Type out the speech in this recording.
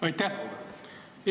Aitäh!